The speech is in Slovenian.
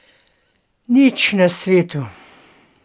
Nič na svetu.